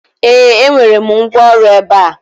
ee, enwere m ngwaọrụ ebe a